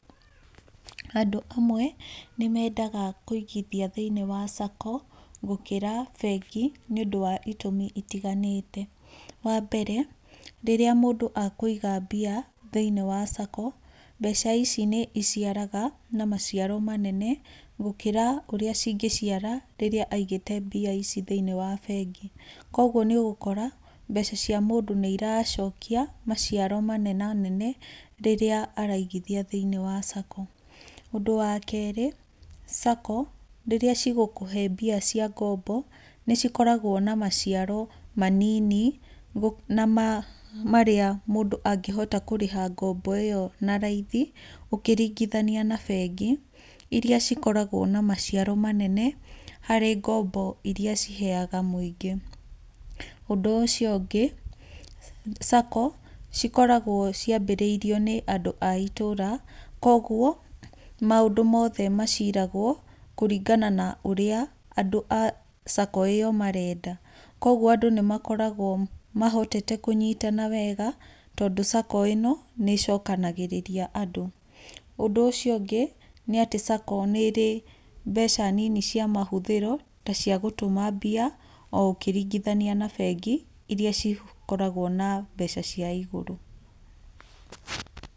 Andũ amwe, nĩ mendaga kwĩigia thĩinĩ wa SACCO, gũkĩra bengi nĩ ũndũ wa itumi itiganĩte, wa mbere rĩrĩa mũndũ akwĩiga mbia thĩinĩ wa SACCO, mbeca ici nĩ iciaraga na maciaro manene, gũkĩra ũrĩa cingĩciara rĩrĩa aigĩte mbia ici thĩinĩ wa bengi, koguo nĩ ũgũkora mbeca cia mũndũ nĩ iracokia maciaro manene, rĩrĩa araigithia thĩinĩ wa SACCO, ũndũ wa kerĩ SACCO rĩrĩa cigũkũhe mbia cia ngombo, nĩ cikoragwo na maciaro manini na ma marĩa mũndũ angĩhota kũrĩha ngombo ĩyo na raithi, ũkĩringithania na bengi, iria cikoragwo na maciaro manene, harĩ ngombo iria ciheyaga mũingĩ, ũndũ ũcio ũngĩ SACCO cikoragwo ciabirĩirio nĩ andũ a itũra, koguo maũndũ mothe maciragwo, kũringana na ũrĩa andũ a SACCO ĩyo marenda, koguo andũ nĩ makoragwo mahotete kũnyitana wega, tondũ SACCO ĩno nĩ ĩcokanagĩrĩria andũ, ũndũ ũcio ũngĩ nĩ atĩ SACCO nĩrĩ mbeca nini cia mahũthĩro, tacia gũtũma mbia, o ũkĩringithania na bengi iria cikoragwo na mbeca cia igũrũ.